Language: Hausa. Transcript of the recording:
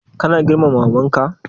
Kana girmama maman ka?